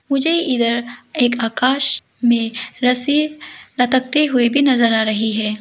मुझे इधर एक आकाश में रस्सी लटकते हुए भी नजर आ रही है।